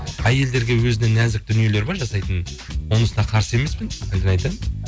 әйелдерге өзіне нәзік дүниелер бар жасайтын онысына қарсы емеспін бірден айтайын